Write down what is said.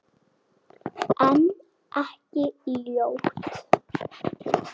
En ekki ljót.